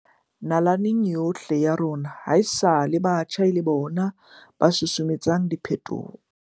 Nalaneng yohle ya rona hae-sale batjha e le bona ba susumetsang diphetoho.